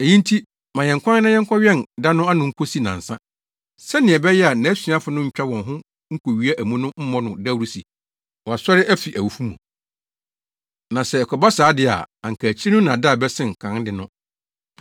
Eyi nti ma yɛn kwan na yɛnkɔwɛn da no ano nkosi nnansa, sɛnea ɛbɛyɛ a nʼasuafo no ntwa wɔn ho nkowia amu no mmɔ no dawuru se wasɔre afi awufo mu. Na sɛ ɛkɔba saa de a anka akyiri no nnaadaa bɛsen kan de no.”